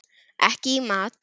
Ekki í mat.